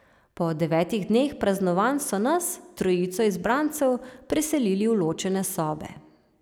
Po devetih dneh praznovanj so nas, trojico izbrancev, preselili v ločene sobe.